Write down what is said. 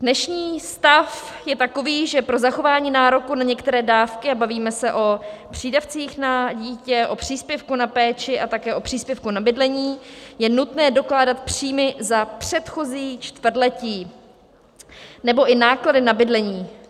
Dnešní stav je takový, že pro zachování nároku na některé dávky, a bavíme se o přídavcích na dítě, o příspěvku na péči a také o příspěvku na bydlení, je nutné dokládat příjmy za předchozí čtvrtletí nebo i náklady na bydlení.